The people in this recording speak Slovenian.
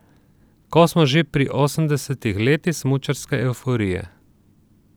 Ko smo že pri osemdesetih letih smučarske evforije.